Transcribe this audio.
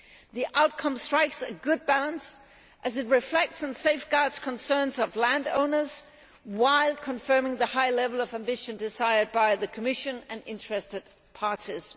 The outcome strikes a good balance, as it reflects and safeguards concerns of landowners while confirming the high level of ambition desired by the Commission and interested parties.